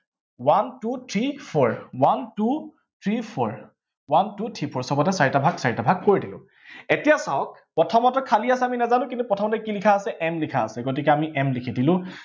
one two three four, one two three four, one two three four সৱতে চাৰিটা ভাগ চাৰিটা ভাগ কৰি দিওঁ। এতিয়া চাওঁ প্ৰথমতে খালী আছে আমি নাজানো, কিন্তু প্ৰথমতে কি লিখা আছে m লিখা আছে, গতিকে আমি m লিখি দিলো।